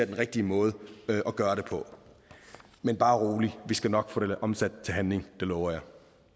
den rigtige måde at gøre det på men bare rolig vi skal nok få det omsat til handling det lover jeg